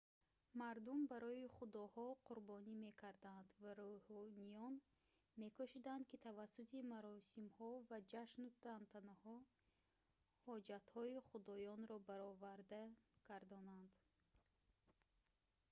мардум барои худоҳо қурбонӣ мекарданд ва рӯҳониён мекӯшиданд ки тавассути маросимҳо ва ҷашну тантанаҳо ҳоҷатҳои худоёнро бароварда гардонанд